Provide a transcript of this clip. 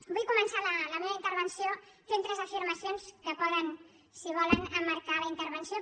vull començar la meva intervenció fent tres afirmacions que poden si volen emmarcar la intervenció